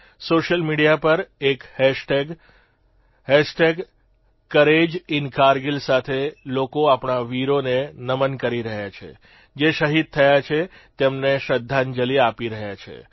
social media પર એક કોરેજીનકાર્ગિલ સાથે લોકો આપણા વીરોને નમન કરી રહ્યા છે જે શહીદ થયા છે તેમને શ્રદ્ધાંજલિ આપી રહ્યા છે